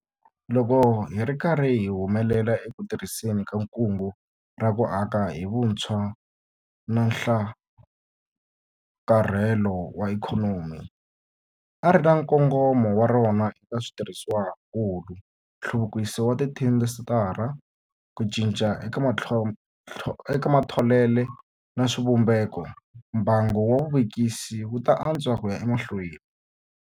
Loko hi ri karhi hi humelela eku tirhiseni ka Kungu ra ku Aka hi Vutshwa na Nhlakarhelo wa Ikhonomi - ri ri na nkongomo wa rona eka switirhisiwakulu, nhluvukiso wa tiindasitiri, ku cinca eka matholelo na swivumbeko - mbangu wa vuvekisi wu ta antswa ku ya emahlweni.